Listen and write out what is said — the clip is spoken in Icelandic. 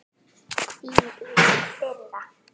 Hvílík firra.